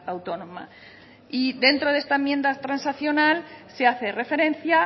autónoma y dentro de esta enmienda transaccional se hace referencia